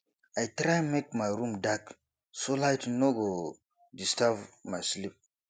i try make my room dark so light no no go disturb my sleep